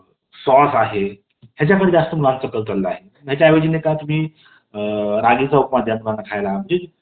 तर कलम पंधरामध्ये धर्म, वंश, जात, लिंग आणि जन्माचे ठिकाण या कारणावरून सार्वजनिक ठिकाणी, भेदभाव करता येणार नाही. सार्वजनिक ठिकाणी भेदभावास मनाई घातलेली आहे.